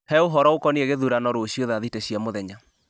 he ũhoro ũkoniĩ gĩthurano rũciũ thaa thita cia mũthenya